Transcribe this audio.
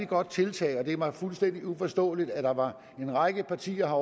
godt tiltag og det er mig fuldstændig uforståeligt at der var en række partier